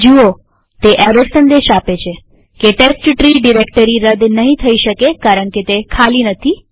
જુઓતે error સંદેશ આપે છે કે ટેસ્ટટ્રી ડિરેક્ટરી રદ નહિ થઇ શકે કારણકે તે ખાલી નથી